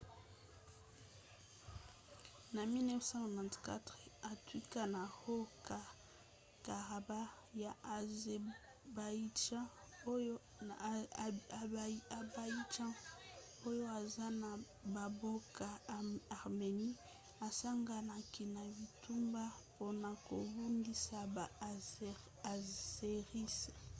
na 1994 etuka ya haut-karabakh ya azerbaïdjan oyo eza ya bamboka arménie esanganaki na bitumba mpona kobundisa baazéris